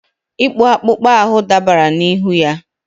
ịkpụ akpụkpọ ahụ dabara n'ihu ya.